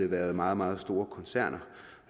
været meget meget store koncerner